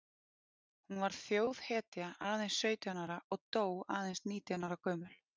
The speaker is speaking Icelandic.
Hún varð þjóðhetja aðeins sautján ára og dó aðeins nítján ára gömul.